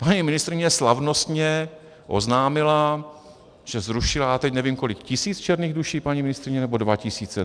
Paní ministryně slavnostně oznámila, že zrušila, já teď nevím kolik - tisíc černých duší, paní ministryně, nebo dva tisíce?